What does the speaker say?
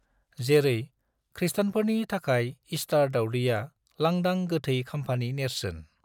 जेरै, खृस्टानफोरनि थाखाय ईस्टर दावदैया लांदां गैथै खाम्फानि नेरसोन।